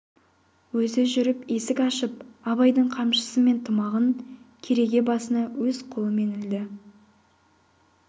өзі жүріп есік ашып абайдың қамшысы мен тымағын кереге басына өз қолынан ілді